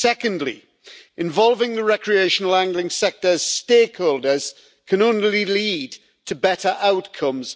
Secondly, involving the recreational angling sector's stakeholders can only lead to better outcomes.